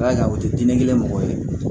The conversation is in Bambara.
Ala ka o tɛ di ne kelen mɔgɔ ye